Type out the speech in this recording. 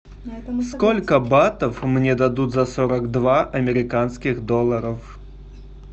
сколько батов мне дадут за сорок два американских долларов